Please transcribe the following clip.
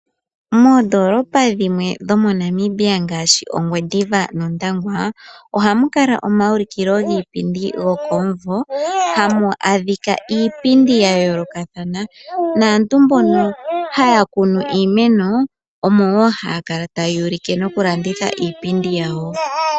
Moondoolopa dhimwe dhomoNamibia ngaashi Ongwediva nOndangwa, ohamu kala omaulikilo giipindi gokomumvo, hamu adhika iipindi ya yoolokathana naantu mbono haya kunu iimeno omo woo haya kala taya ulike nokulanditha iipindi yawo.